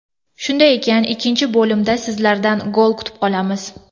Shunday ekan, ikkinchi bo‘limda sizlardan gol kutib qolamiz!